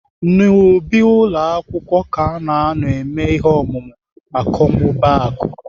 N'ubi ụlọ akwụkwọ ka ana anọ eme ihe omume akọmmụbaaku.